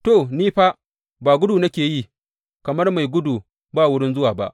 To, ni fa ba gudu nake yi kamar mai gudu ba wurin zuwa ba.